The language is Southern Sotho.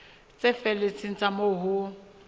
tse felletseng tsa moo ho